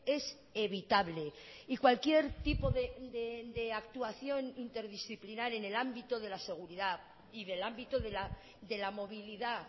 es evitable y cualquier tipo de actuación interdisciplinar en el ámbito de la seguridad y del ámbito de la movilidad